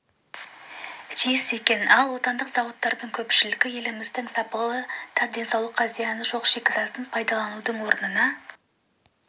тиіс екен ал отандық зауыттардың көпшілігі еліміздің сапалы да денсаулыққа зияны жоқ шикізатын пайдаланудың орнына